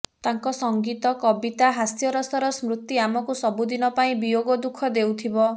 ତାଙ୍କ ସଙ୍ଗୀତ କବିତା ହାସ୍ୟରସର ସ୍ମୃତି ଆମକୁ ସବୁଦିନ ପାଇଁ ବିୟୋଗ ଦୁଃଖ ଦେଉଥିବ